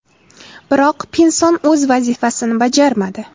Biroq, Pinson o‘z vazifasini bajarmadi.